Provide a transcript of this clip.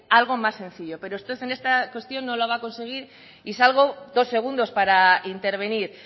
algo más sencillo pero usted en esta cuestión no lo va a conseguir y salgo dos segundos para intervenir